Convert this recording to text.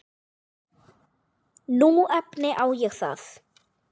Nú efni ég það.